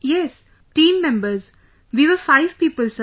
Yes...team members...we were five people Sir